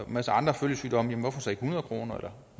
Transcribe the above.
masse andre følgesygdomme hvorfor så ikke hundrede kroner eller